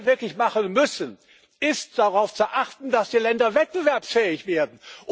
hat. Was wir wirklich machen müssen, ist, darauf zu achten, dass die Länder wettbewerbsfähig werden.